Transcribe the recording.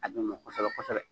A d'o ma kɔsɛbɛ kosɛbɛ